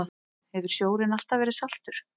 Hefur sjórinn alltaf verið saltur?